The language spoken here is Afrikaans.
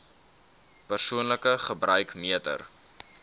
persoonlike gebruik meter